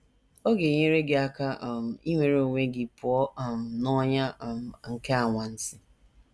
Ọ ga - enyere gị aka um inwere onwe gị pụọ um n’ọnyà um nke anwansi.